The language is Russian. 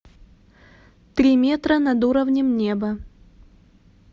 три метра над уровнем неба